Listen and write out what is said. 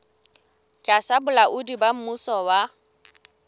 tlasa bolaodi ba mmuso wa